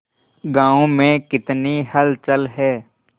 गांव में कितनी हलचल है